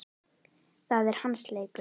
Það er hans leikur.